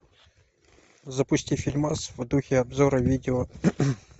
запусти фильмас в духе обзора видео